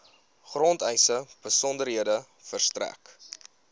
grondeise besonderhede verstrek